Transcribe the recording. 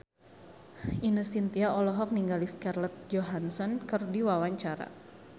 Ine Shintya olohok ningali Scarlett Johansson keur diwawancara